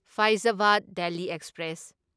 ꯐꯥꯢꯖꯕꯗ Delhi express